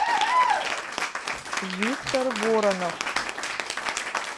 виктор воронов